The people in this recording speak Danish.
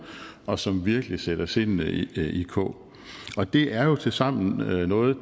og som virkelig sætter sindene i kog og det er jo tilsammen noget